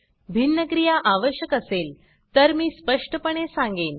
भिन्न क्रिया आवश्यक असेल तर मी स्पष्टपणे सांगेन